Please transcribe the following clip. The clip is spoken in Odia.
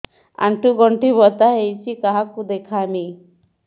ଆଣ୍ଠୁ ଗଣ୍ଠି ବାତ ହେଇଚି କାହାକୁ ଦେଖାମି